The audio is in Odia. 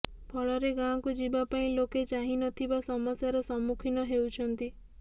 ଫଳରେ ଗାଁକୁ ଯିବା ପାଇଁ ଲୋକେ ନାହିଁନଥିବା ସମସ୍ୟାର ସମ୍ମୁଖୀନ ହେଉଛନ୍ତି